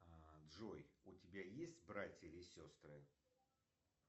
джой у тебя есть братья или сестры